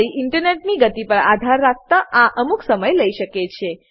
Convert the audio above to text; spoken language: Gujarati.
તમારી ઈન્ટરનેટની ગતિ પર આધાર રાખતા આ અમુક સમય લઇ શકે છે